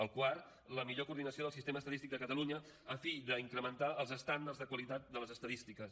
el quart la millor coordinació del sistema estadístic de catalunya a fi d’incrementar els estàndards de qualitat de les estadístiques